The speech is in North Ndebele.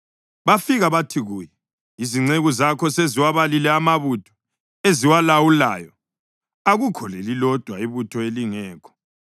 bafika bathi kuye, “Izinceku zakho seziwabalile amabutho eziwalawulayo, akukho lelilodwa ibutho elingekho.